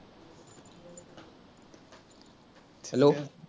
hello